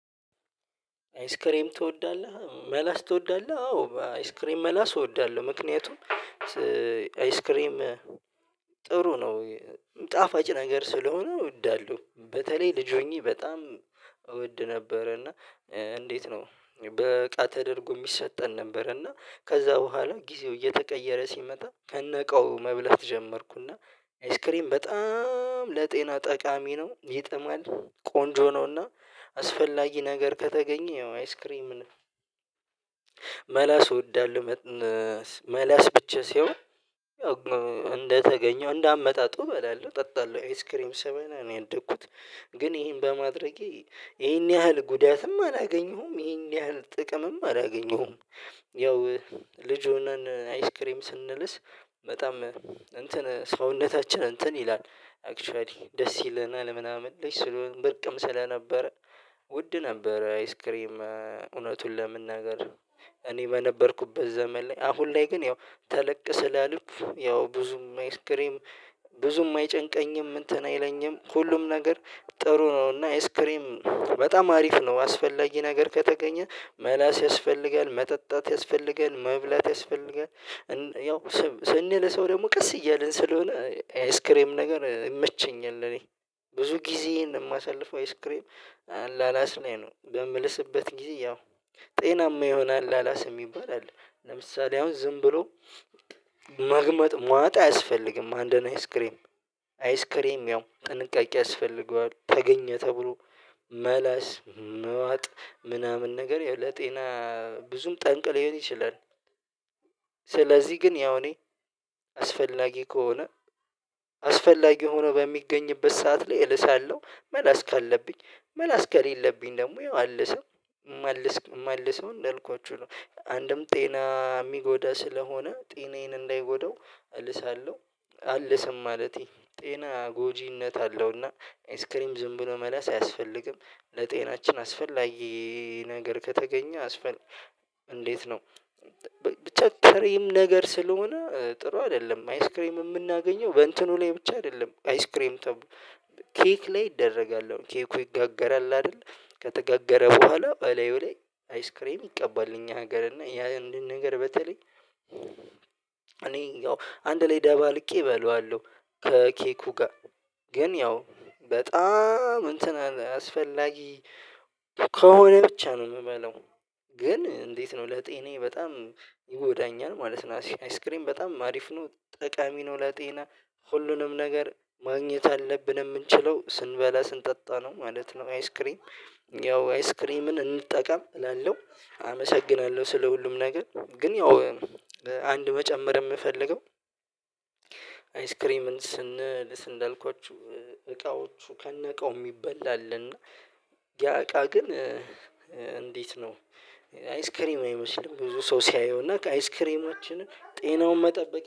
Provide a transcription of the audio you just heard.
አይስክሬም ትወዳለህ? መላስ ትወዳለህ አዎ አይስክሬም መላስ እወዳለሁ ምክንያቱም አይስክሬም ጥሩ ነው ጣፋጭ ነገር ስለሆነ እወዳለው በተለይ ልጅ ሆኜ በጣም እወድ ነበረ እና እንዴት ነው በአጣ ተደርጎ የሚሰጠን ነበር እና ከዛ ቦኋላ ጊዜው እየተቀየረ ሲመጣ ከነቃው መብለት ጀመርኩና አይስክሪም በጣም ለጤና ጠቃሚ ነው። ይጥማል ቆንጆ ነውና አስፈላጊ ነገር ከተገኘው አይስክሬምን መላስ እወዳለው መላስ ብቻ ሲሆን እንደተገኘው እንዳመጣጡ እበላለሁ እጠጣለሁ አይስክሬም ስብላ ነው ያደኩት ግን ይሄን በማድረጌ ይሄን ያህል ጉዳትም አላገኘሁም። ይሄን ያህል ጥቅምም አላገኘሁም። ያው ልጅ ሆነን አይስክሬም ስንልስ በጣም እንትን ሰውነታችን እንትን ይላል አክቹዋሊ ደስ ይለናል ምናምን ልጅ ስለሆነ ብርቅም ስለነበረ ውድ ነበረ አይስክሬም እውነቱን ለመናገር እኔ በነበርኩበት ዘመን ላይ አሁን ላይ ግን ያው ተለቅ ስላልኩ ያው ብዙም አይስክሬም ብዙም አይጨንቀኝም እንትን አይለኝም ሁሉም ነገር ጥሩ ነው እና ኢስክሬም በጣም አሪፍ ነው አስፈላጊ ነገር ከተገኘ መላስ ያስፈልጋል። መጠጣት ያስፈልጋል መብላት ያስፈልጋል ያው ስንልሰው ደግሞ ቀስ እያልን ስለሆነ ኤይስክሬም ነገር ይመቸኛል ለኔ። ብዙ ጊዜ እንደማሳልፍ አይስክሬም አላላስ ላይ ነው በምልስበት ጊዜ ያው ጤናማ ይሆናል አላስ የምይባላል ለምሳሌ አሁን ዝም ብሎ መግመጥ ማጣ አያስፈልግም አንድ ነው አይስክሬም አይስክሬም ያው ጥንቃቄ ያስፈልገዋል ተገኘ ተብሎ መላስ መዋጥ ምናምን ነገር ለጤና ብዙም ጠንቅ ሊሆን ይችላ። ስለዚህ ግን ያው እኔ አስፈላጊ ከሆነ አስፈላጊ ሆኖ በሚገኝበት ሰዓት ላይ እልሳለሁ መላስ ካለብኝ መላስ ከሌለብኝ ደግሞ የማልሰው መልሰው እንዳልኳችሁ ነው አንድም ጤና የሚጎዳ ስለሆነ ጤናዬን እንዳይጎዳው እልሳለሁው አልሰም ማለቴ ጤና ጎጂነት አለው እና ኢአይስክሬም ዝም ብሎ መለስ አያስፈልግም። ለጤናችን አስፈላጊ ነገር ከተገኘ አስፈልጊ እንዴት ነው ብቻ ክሬም ነገር ስለሆነ ጥሩ አይደለም አይስክሬም የምናገኘው በእንትኑ ላይ ብቻ አይደለም አይስክሬም ተብሎ ኬክ ላይ ይደረጋለው ኬኩ ይጋገራል አይደል? ከተጋገረ ቦኋላ በላዩ ላይ አይስክሬም ይቀባል እኛ ሀገር እና ያ እንደን ነገር በተለይ እኔ ያው አንድ ላይ ደባልቄ እበላዋለሁ ከኬኩ ጋር ግን ያው በጣም እንትን አስፈላጊ ከሆነ ብቻ ነው የምበላው። ግን እንዴት ነው ለጤኔ በጣም ይጎዳኛል ማለት ነው። አይስክሬም በጣም አሪፍ ነው ጠቃሚ ነው ለጤና ሁሉንም ነገር ማግኘት አለብን የምንችለው ስንበላ ስንጠጣ ነው ማለት ነው አይስክሪም። ያው አይስክሪምን እንጠቀም እላለሁ አመሰግናለሁ ስለ ሁሉም ነገር ግን ያው አንድ መጨመር የምፈልገው አይስክሬምን ስንል ስንል እንዳልኳችሁ እቃዎቹ ከነቃው የሚበላ አለና እና ያ እቃ ግን እንዴት ነው አይስክሬም አይመስልም ብዙ ሰው ሲያየው ከአይስክሬማችን ጤናውን መጠበቅ